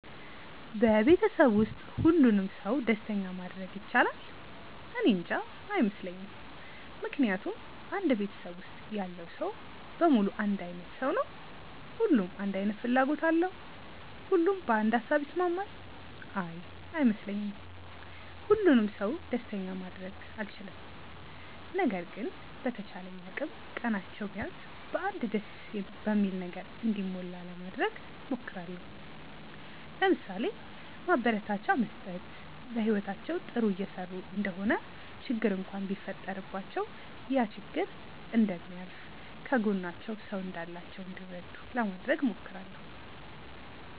በቤተሰብ ውስጥ ሁሉንም ሰው ደስተኛ ማድረግ ይቻላል? እኔንጃ። አይመስለኝም ምክንያቱም አንድ ቤተሰብ ውስጥ ያለው ሰው በሙሉ አንድ አይነት ሰው ነው? ሁሉም አንድ አይነት ፍላጎት አለው? ሁሉም በአንድ ሃሳብ ይስማማል? አይ አይመስለኝም። ሁሉንም ሰው ደስተኛ ማድረግ አልችልም። ነገር ግን በተቻለኝ አቅም ቀናቸው ቢያንስ በ አንድ ደስ በሚል ነገር እንዲሞላ ለማድረግ እሞክራለው። ለምሳሌ፦ ማበረታቻ መስጠት፣ በህይወታቸው ጥሩ እየሰሩ እንደሆነ ችግር እንኳን ቢፈጠረባቸው ያ ችግር እንደሚያልፍ፣ ከጎናቸው ሰው እንዳላቸው እንዲረዱ ለማድረግ እሞክራለው።